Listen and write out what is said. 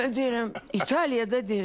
Mən deyirəm, İtaliyada deyirəm.